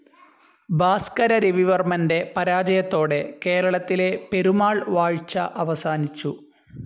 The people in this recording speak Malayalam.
ഭാസ്‌കര രവിവർമ്മൻ്റെ പരാജയത്തോടെ കേരളത്തിലെ പെരുമാൾ വാഴ്ച അവസാനിച്ചു.